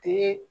Te